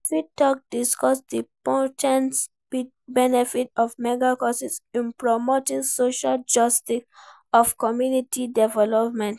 You fit discuss di po ten tial benefits of mega-churches in promoting social justice and community development.